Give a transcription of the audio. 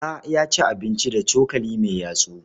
Bala ya ci abinci da cokali mai yatsu.